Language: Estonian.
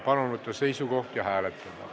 Palun võtta seisukoht ja hääletada!